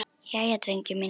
Jæja, drengir mínir!